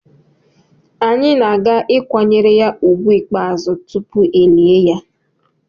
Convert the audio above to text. Anyị na-aga ịkwanyere ya úgwù ikpeazụ tupu elie ya.